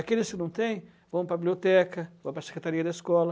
Aqueles que não têm, vão para a biblioteca, vão para a secretaria da escola.